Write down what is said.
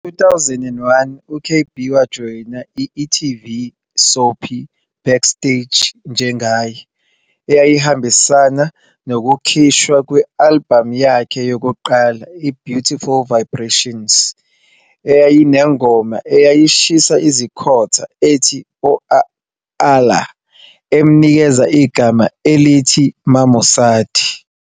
Ngo-2001, u-KB wajoyina i-e-TV soapie Backstage njengaye, eyayihambisana nokukhishwa kwe-albhamu yakhe yokuqala, i-Beautiful Vibrations, eyayinengoma eyashisa izikhotha ethi 'OA lla', emnikeza igama elithi Mamosadi.